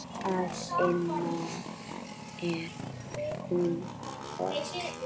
Að innan er hún hol.